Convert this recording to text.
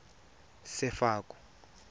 sefako